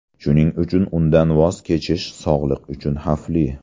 Shuning uchun undan voz kechish sog‘liq uchun xavfli.